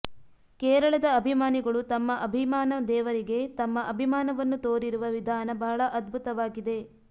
ಕೇರಳದ ಅಭಿಮಾನಿಗಳು ತಮ್ಮ ಅಭಿಮಾನ ದೇವರಿಗೆ ತಮ್ಮ ಅಭಿಮಾನವನ್ನು ತೋರಿರುವ ವಿಧಾನ ಬಹಳ ಅದ್ಭುತವಾಗಿದೆ